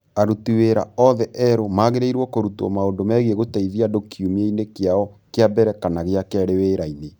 Aruti wĩra othe arĩa erũ magĩrĩirũo kũrutwo maũndũ megiĩ gũteithia andũ kiumia-ĩnĩ kĩao kĩa mbere kana gĩa kerĩ wĩra-inĩ.